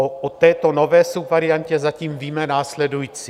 O této nové subvariantě zatím víme následující.